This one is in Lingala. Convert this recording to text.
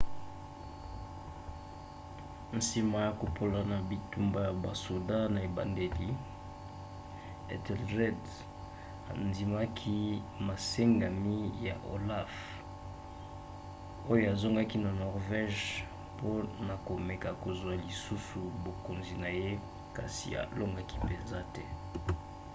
nsima ya kopola na bitumba ya basoda na ebandeli ethelred andimaki masengami ya olaf oyo azongaki na norvège mpona komeka kozwa lisusu bokonzi na ye kasi alongaki mpenza te